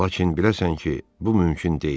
Lakin biləsən ki, bu mümkün deyil.